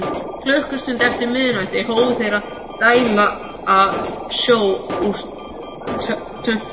Klukkustund eftir miðnætti hófu þeir að dæla sjó úr tönkunum.